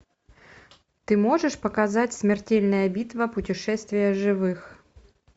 ты можешь показать смертельная битва путешествие живых